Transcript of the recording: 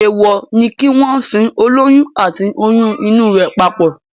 Èèwọ̀ ni kí wọ́n sin olóyún àti oyún inú rẹ̀ papọ̀